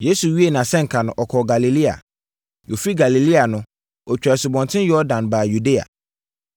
Yesu wiee nʼasɛnka no, ɔkɔɔ Galilea. Ɔfiri Galilea no, ɔtwaa Asubɔnten Yordan baa Yudea.